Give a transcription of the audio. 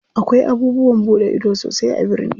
Akwai abubuwan buɗe ido sosai a birni.